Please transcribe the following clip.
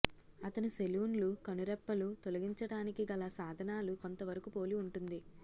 అతను సెలూన్లు కనురెప్పలు తొలగించడానికి గల సాధనాలు కొంతవరకు పోలి ఉంటుంది